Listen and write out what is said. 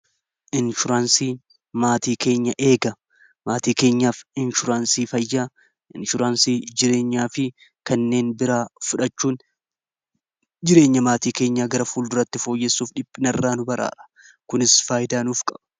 Inshuraansii maatii keenya eega maatii keenyaa f inshuraansii fayyaa inshuraansii jireenyaa fi kanneen biraa fudhachuun jireenya maatii keenya gara fuul duratti fooyyessuuf dhiphina irraa nu baraara kunis faayidaa nuuf qaba.